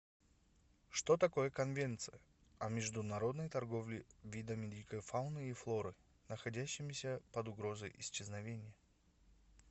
что такое конвенция о международной торговле видами дикой фауны и флоры находящимися под угрозой исчезновения